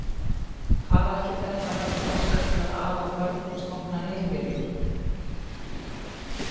Hvað ætli þetta hafi þroska til að ala börn og stofna heimili!